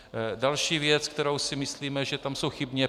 Další věc, která si myslíme, že tam je chybně.